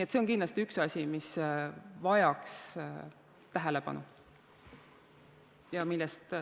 See on kindlasti üks asju, mis vajaks tähelepanu.